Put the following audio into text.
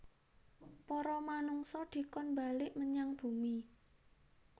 Para manungsa dikon mbalik menyang Bumi